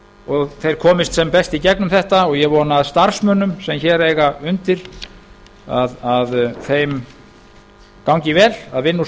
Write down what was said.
og þeir komist sem best í gegnum þetta og ég vona að starfsmönnum sem hér eiga undir gangi vel að vinna úr